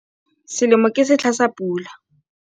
Selemo ke setlha sa pula.